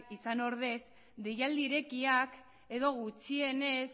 izan ordez deialdi irekiak edo gutxienez